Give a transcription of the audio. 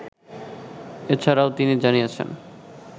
এছাড়াও তিনি জানিয়েছেন